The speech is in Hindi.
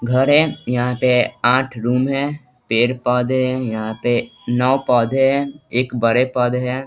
घर है यहाँ पे आठ रूम है पेड़-पौधे है यहाँ पे नव पौधे है एक बड़े पौधे है।